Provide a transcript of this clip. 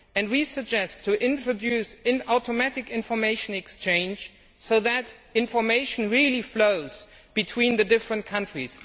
We suggest introducing automatic information exchange so that information really flows between the different countries.